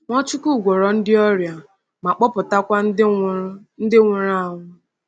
Nwachukwu gwọọrọ ndị ọrịa ma kpọpụtakwa ndị nwụrụ ndị nwụrụ anwụ.